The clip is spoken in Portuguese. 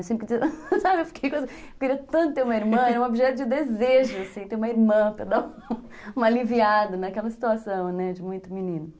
Eu sempre quis, sabe, eu fiquei com essa... Eu queria tanto ter uma irmã, era um objeto de desejo, assim, ter uma irmã, para dar uma aliviada naquela situação, né, de muito menino.